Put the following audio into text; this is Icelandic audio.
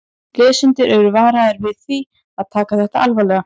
Lesendur eru varaðir við því að taka þetta alvarlega.